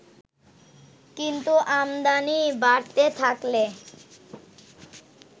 কিন্তু আমদানি বাড়তে থাকলে